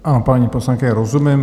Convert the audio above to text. Ano, paní poslankyně, rozumím.